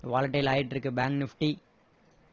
volatile ஆகிட்டு இருக்கு bank nifty